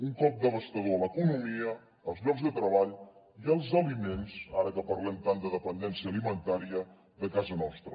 un cop devastador a l’economia als llocs de treball i als aliments ara que parlem tant de dependència alimentària de casa nostra